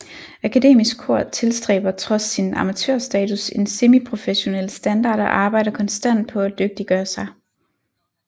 Akademisk Kor tilstræber trods sin amatørstatus en semiprofessionel standard og arbejder konstant på at dygtiggøre sig